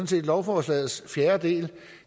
set lovforslagets fjerde del